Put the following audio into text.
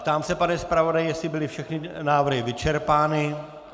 Ptám se, pane zpravodaji, jestli byly všechny návrhy vyčerpány.